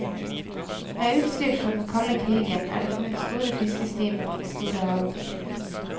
Med utstyr fra den kalde krigen er det funnet store fiskestimer på de store havdyp.